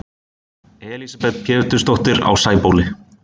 Elísabet Pétursdóttir á Sæbóli